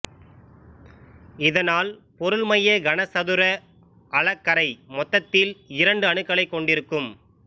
இதனால் பொருள்மைய கனசதுர அலகறை மொத்தத்தில் இரண்டு அணுக்களைக் கொண்டிருக்கும்